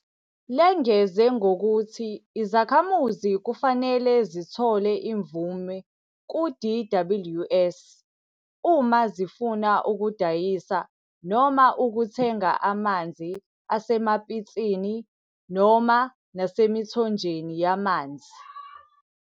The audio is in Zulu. Lengeze ngokuthi izakhamuzi kufanele zithole imvume ku-DWS uma zifuna ukudayisa noma ukuthenga amanzi asemapitsini - nasemithonjeni yamanzi.